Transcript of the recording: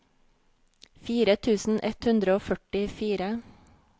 fire tusen ett hundre og førtifire